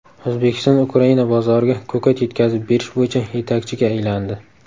O‘zbekiston Ukraina bozoriga ko‘kat yetkazib berish bo‘yicha yetakchiga aylandi.